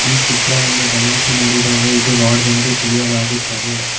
ಈ ಚಿತ್ರವನ್ನು ಗಮನಿಸಿ ನೋಡಿದಾಗ ಇದು ಲಾಡ್ಜ್ ಎಂದು ತಿಳಿಯಲಾಗುತ್ತದೆ.